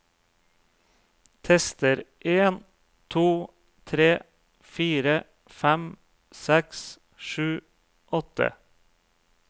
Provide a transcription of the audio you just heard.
Tester en to tre fire fem seks sju åtte